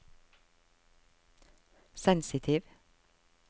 sensitiv